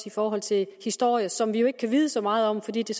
i forhold til historie som vi ikke kan vide så meget om fordi det